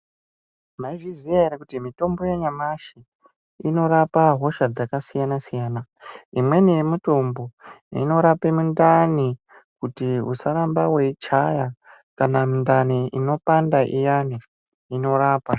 Maizviziya ere kuti mitombo yanyamashi inorape hosha dzakasiyana siyana, imweni yemitombo inorape mundani kuti usaramba weichaya kana mundani inopanda iyani inorapa.